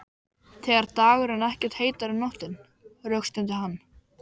Ekki leið á löngu áður en sektarkenndin helltist yfir mig.